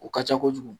O ka ca kojugu